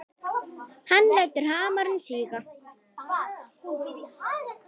Hann lætur hamarinn síga.